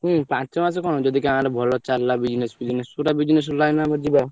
ହୁଁ ପାଞ୍ଚ ମାସେ କଣ ଯଦି ଗାଁରେ ଭଲ ଚାଲିଲା business ଫିଜିନେସ୍ ଗୋଟା business line ରେ ଆମେ ଯିବା।